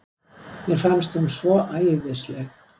Mér fannst hún svo æðisleg.